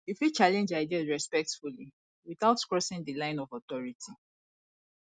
you fit challenge ideas respectfully without crossing di line of authority